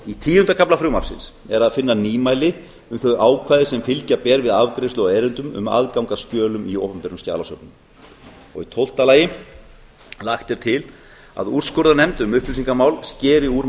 í tíunda kafla frumvarpsins er að finna nýmæli um þau ákvæði sem fylgja ber við afgreiðslu á erindum um aðgang að skjölum í opinberum skjalasöfnum tólf lagt er til að úrskurðarnefnd um upplýsingamál skeri úr